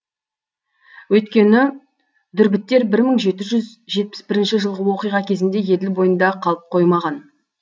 өйткені дүрбіттер бір мың жеті жүз жетпіс бірінші жылғы оқиға кезінде еділ бойында қалып қоймаған